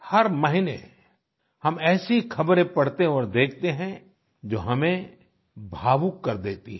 हर महीने हम ऐसी ख़बरें पढ़ते और देखते हैं जो हमें भावुक कर देती हैं